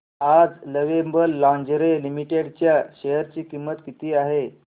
आज lovable lingerie limited च्या share ची किंमत किती आहे